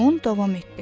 deyə Bon davam etdi.